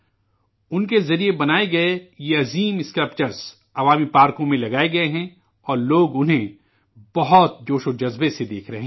ان کے ذریعہ بنائے گئے یہ شاندار مجسمے عوامی پارکوں میں لگائے گئے ہیں اور لوگ انہیں بہت جوش و خروش سے دیکھ رہے ہیں